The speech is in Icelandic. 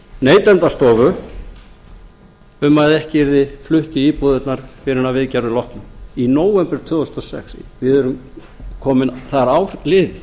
neytendastofu um að ekki yrði flutt í íbúðirnar fyrr en að viðgerðum loknum í nóvember tvö þúsund og sex það er ár liðið